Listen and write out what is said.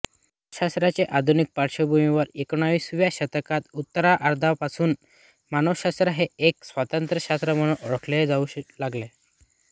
मानसशास्त्राची अधुनिक पार्श्वभूमी एकोणिसाव्या शतकाच्या उत्तरार्धापासून मानसशास्त्र हे एक स्वतंत्र शास्त्र म्हणून ओळखले जाऊ लागले